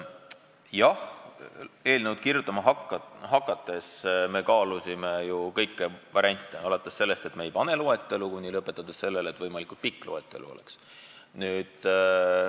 Jah, eelnõu kirjutama hakates me kaalusime kõiki variante, alates sellest, et me ei pane loetelu kirja, ja lõpetades sellega, et võimalikult pikk loetelu oleks.